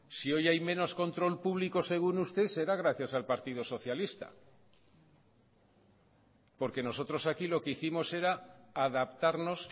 si hoy hay menos control público según usted será gracias al partido socialista porque nosotros aquí lo que hicimos era adaptarnos